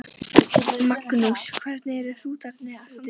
Magnús: Hvernig eru hrútarnir að standa sig?